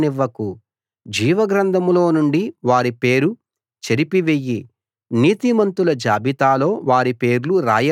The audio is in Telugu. జీవగ్రంథంలో నుండి వారి పేరు చెరిపివెయ్యి నీతిమంతుల జాబితాలో వారి పేర్లు రాయవద్దు